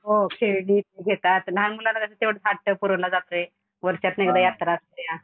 हो खेळणी घेतात. लहान मुलं तेव्हडा हट्ट पुरवला जातोय वर्षातुन एकदा यात्रा असतेया.